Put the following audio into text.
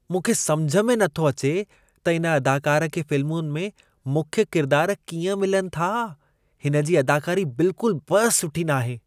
मूंखे सम्झ में नथो अचे त इन अदाकार खे फिल्मुनि में मुख्य किरदार कीअं मिलनि था? हिन जी अदाकारी बिल्कुल बि सुठी नाहे।